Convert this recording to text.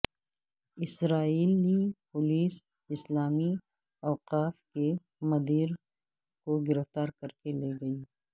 اسرائیلی police اسلامی اوقاف کے مدیر کو گرفتار کر کے لے گئی